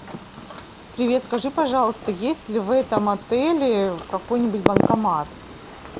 привет скажи пожалуйста есть ли в этом отеле какой нибудь банкомат